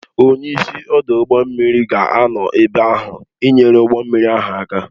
Onye isi ọdụ ụgbọ mmiri ga-anọ ebe ahụ ị nyere ụgbọ mmiri ahụ aka